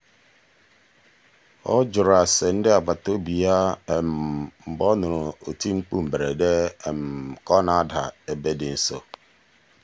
ọ jụrụ ase ndị agbataobi ya mgbe ọ nụrụ oti mkpu mberede ka ọ na-ada ebe dị nso.